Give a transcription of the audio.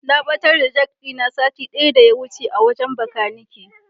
Na ɓatar da jak ɗina sati ɗaya daya wuce a wajen Bakanike.